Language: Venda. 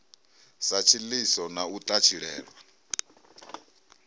sa tshiḽiso na u ṱatshilelwa